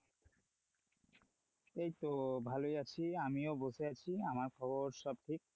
এইতো ভালোই আমিও বসে আছি, আমার খবর সব ঠিক,